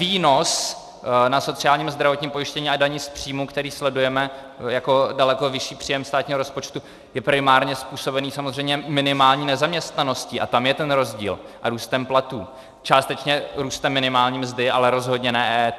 Výnos na sociálním a zdravotním pojištění a dani z příjmu, který sledujeme jako daleko vyšší příjem státního rozpočtu, je primárně způsobený samozřejmě minimální nezaměstnaností, a tam je ten rozdíl, a růstem platů, částečně růstem minimální mzdy, ale rozhodně ne EET.